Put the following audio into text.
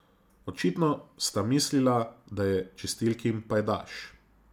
Očitno sta mislila, da je čistilkin pajdaš.